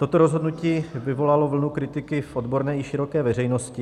Toto rozhodnutí vyvolalo vlnu kritiky v odborné i široké veřejnosti.